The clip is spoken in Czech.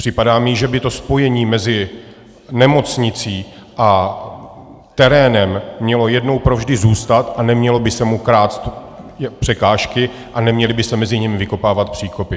Připadá mi, že by to spojení mezi nemocnicí a terénem mělo jednou provždy zůstat a neměly by se mu klást překážky a neměly by se mezi nimi vykopávat příkopy.